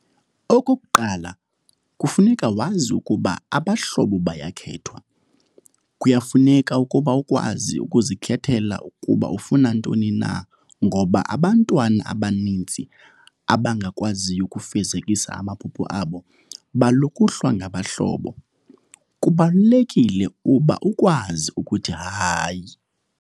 Okokuqala kufuneka wazi ukuba abahlobo bayakhethwa, kuyafuneka ukuba ukwazi ukuzikhetha kuba ufuna ntoni na ngoba abantwana abaninzi abangakwaziyo ukufezekisa amaphupha abo balukuhlwa ngabahlobo. Kubalulekile uba ukwazi ukuthi "hayi!"